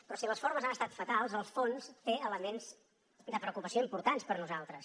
però si les formes han estat fatals el fons té elements de preocupació importants per nosaltres